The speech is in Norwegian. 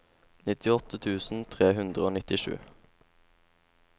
nittiåtte tusen tre hundre og nittisju